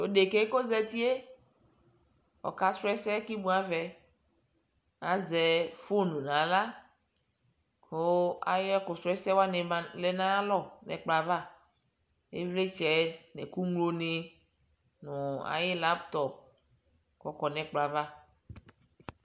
Tɔɔ fekɛɛ koʒatie ɔkasrɔ ɛsɛɛ kimuavɛ aʒɛ foŋ nɣla ayɛkusrɔɛhsɛ wani lɛɛ nayalɔ nɛkplalɔavIvlitsɛ nɛkuŋloni, nu nulaptɔp kɔkɔɔ nɛkplɔava